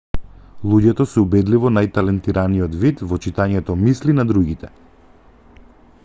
луѓето се убедливо најталентираниот вид во читањето мисли на другите